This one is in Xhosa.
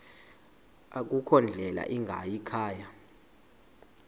akukho ndlela ingayikhaya